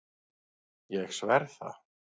Ég sver það.